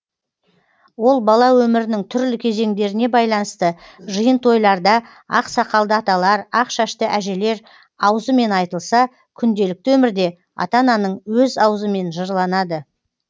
ол бала өмірінің түрлі кезеңдеріне байланысты жиын тойларда ақ сақалды аталар ақ шашты әжелер аузымен айтылса күнделікті өмірде ата ананың өз аузымен жырланады